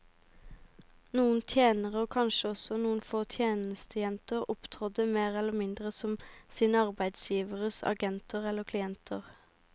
Noen tjenere, og kanskje også noen få tjenestejenter, opptrådte mer eller mindre som sine arbeidsgiveres agenter eller klienter.